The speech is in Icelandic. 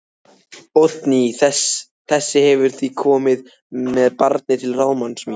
Oddný þessi hefur því komið með barnið til ráðsmanns míns